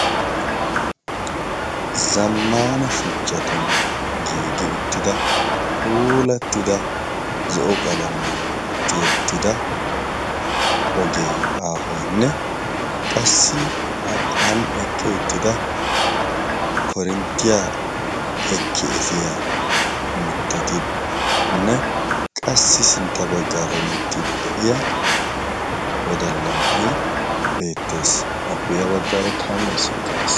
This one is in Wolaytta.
Zammaana shuchchatun giigi uttida puulattida zo'o qalamiyan tiyettida ogee aahoyinne qassi an eqqi uttida koorinttiya ekki efiyaa mittatinne qassi sintta baggaara hemettiiddi de'iya wodalla na'ay beettees. Appe ya baggaara kaame issoyikka de'ees.